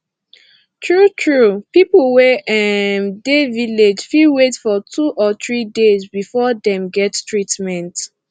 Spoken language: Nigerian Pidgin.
tru tru pipu wey um dey village fit wait for two or three days before dem get treatment